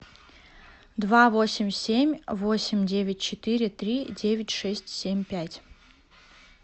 два восемь семь восемь девять четыре три девять шесть семь пять